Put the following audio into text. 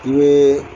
I bɛ